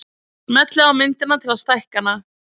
Smellið á myndina til að stækka hana.